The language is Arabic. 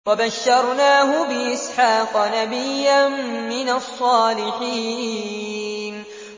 وَبَشَّرْنَاهُ بِإِسْحَاقَ نَبِيًّا مِّنَ الصَّالِحِينَ